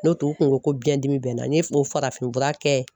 N'o tɛ u kun ko biɲɛdimi bɛ n na n y'o farafinfura kɛ